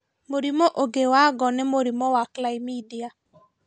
Mũrimũ ũngĩ wa ngo nĩ mũrimũ wa chlamydia